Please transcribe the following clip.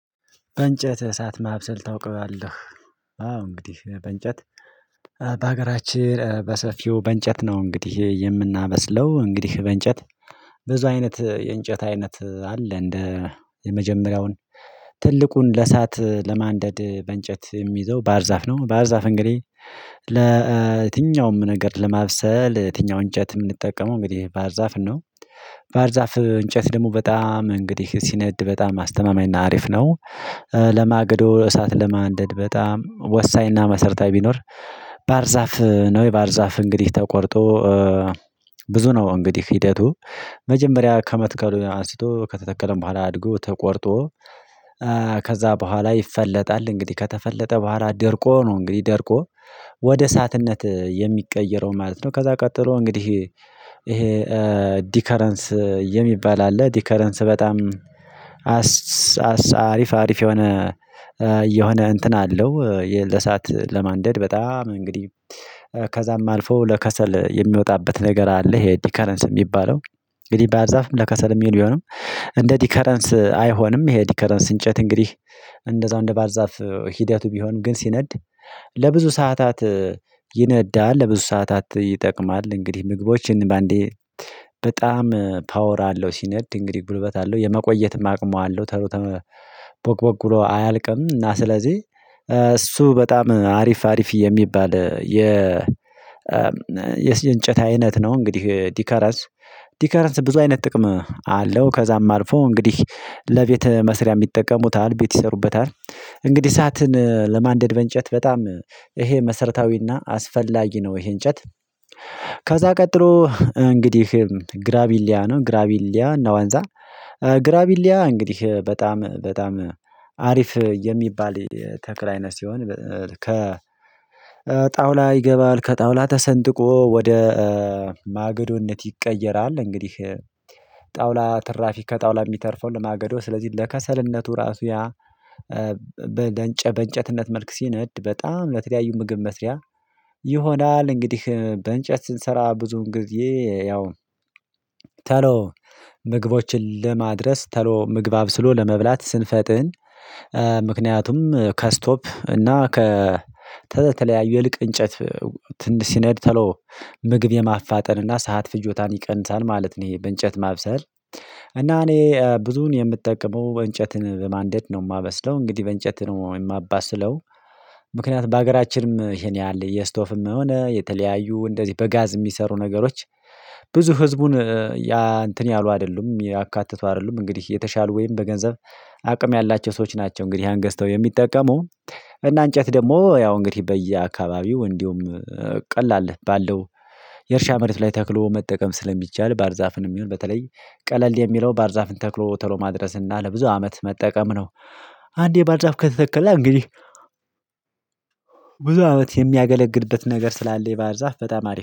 በእንጨት እሳት ማብሰል ታውቀዋለህ? አዎ እንግዲህ በእንጨት በሀገራችን በሰፊው በእንጨት ነው እንግዲህ የምናበስለው እንግዲህ በእንጨት ብዙ አይነት የእንጨት አይነት አለ እንደ የመጀመሪያውን ትልቁን ለእሳት ለማንደድ በእንጨት የሚይዘው ባህር ዛፍ ነው ባርዛፍ እንግዲህ ለ የትኛውም ነገር ለማብሰል የትኛውን እንጨት የምንጠቀመው እንግዲህ ባርዛፍ ነው ባህር ዛፍ እንጨት ደግሞ በጣም እንግዲህ ሲነድ በጣም አስተማማኝና አሪፍ ነው ለማገዶ እሳት ለማንደድ በጣም ወሳኝና መሰርታዊ ቢኖር ባህር ዛፍ ነው ባህር ዛፍ እንግዲህ ተቆርጦ ብዙ ነው እንግዲህ ሂደቱ መጀመሪያ ከመትከሉ አንስቶ ከተተከለም በኋላ አድጎ ተቆርጦ ከዛ በኋላ ይፈለጣል እንግዲህ ከተፈለጠ በኋላ ደርቆ ነው እንግዲህ ደርቆ ወደ እሳትነት የሚቀየረው ማለት ነው ከዛ ቀጥሎ እንግዲህ ይሄ ዲከረንስ የሚባል አለ ዲከረንስ በጣም አሪፍ አሪፍ የሆነ የሆነ እንትን አለው የለሰአት ለማንደድ በጣም እንግዲህ ከዛም አልፎ ለከሰል የሚወጣበት ነገር አለ ይሄ ዲከረንስ የሚባለው እንግዲህ ባህርዛፍም ለከሰል የሚሆን ቢሆንም እንደ ዲከረንስ አይሆንም ይሄ ዲከረንስ እንጨት እንግዲህ እንደዛው እንደ ባህር ዛፍ ሂደቱ ቢሆንም ግን ሲነድ ለብዙ ሰዓታት ይነዳል ለብዙ ሰዓታት ይጠቅማል እንግዲህ ምግቦችን በአንዴ በጣም ፓወር አለው ሲነድ እንግዲህ ጉልበት አለው የመቆየትም አቅሙ አለው ቶሎ ቦግ ቦግ ብሎ አያልቅም እና ስለዚህ እሱ በጣም አሪፍ አሪፍ የሚባል የ የእንጨት አይነት ነው እንግዲህ ዲከረንስ ዲከረንስ ብዙ አይነት ጥቅም አለው ከዛም አልፎ እንግዲህ ለቤት መስሪያም ይጠቀሙታል ቤት ይሰሩበታል እንግዲህ እሳትን ለማንደድ በእንጨት በጣም ይሄ መሰረታዊና አስፈላጊ ነው ይሄ እንጨት ከዛ ቀጥሎ እንግዲህ ግራቢሊያ ነው ግራቢሊያ ነው ዋንዛ ግራቢሊያ እንግዲህ በጣም በጣም አሪፍ የሚባል ተክል አይነት ሲሆን ከ ጣውላ ይገባል ከጣውላ ተሰንጥቆ ወደ ማገዶነት ይቀየራል እንግዲህ ጣውላ ትራፊ ከጣውላ የሚተርፈው ለማገዶ ስለዚህ ለከሰልነቱ ራሱ ያ በእንጨት በእንጨትነት መልክ ሲነድ በጣም ለተለያዩ ምግብ መስሪያ ይሆናል እንግዲህ በእንጨት ስንሰራ ብዙን ጊዜ ያው ምግቦችን ለማድረስ ቶሎ ምግብ አብስሎ ለመብላት ስንፈጥን ምክንያቱም ከስቶቭ እና ከተተለያዩ የልቅ እንጨት ትንሽ ሲነድ ቶሎ ምግብ የማፋጠን እና ሰዓት ፍጆታን ይቀንሳል ማለት ነው ይሄ በእንጨት ማብሰል እና እኔ ብዙን የምትጠቀመው እንጨትን በማንደድ ነው የማመስለው እንግዲህ በእንጨት ነው የማባስለው ምክንያቱም በሀገራችንም ይሄን ያህል የስቶቭም የሆነ የተለያዩ እንደዚህ በጋዝ የሚሰሩ ነገሮች ብዙ ህዝቡን ያ እንትን ያሉ አይደሉም ያካተቱ አይደሉም እንግዲህ የተሻሉ ወይም በገንዘብ አቅም ያላቸው ሰዎች ናቸው እንግዲህ ያን ገዝተው የሚጠቀሙ እና እንጨት ደግሞ ያው እንግዲህ በየአካባቢው እንዲሁም ቀላል ባለው የእርሻ መሬት ላይ ተክሎ መጠቀም ስለሚቻል ባህር ዛፍንም ይሁን በተለይ ቀለል የሚለው ባህር ዛፍን ተክሎ ቶሎ ማድረስ እና ለብዙ አመት መጠቀም ነው አንዴ ባህር ዛፍ ከተተከለ እንግዲህ ብዙ አመት የሚያገለግልበት ነገር ስላለ ባህር ዛፍ በጣም አሪፍ